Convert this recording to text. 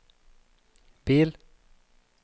bil